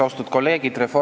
Austatud kolleegid!